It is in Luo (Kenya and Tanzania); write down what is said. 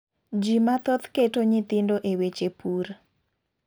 Ji mathoth keto nyithindo e weche pur.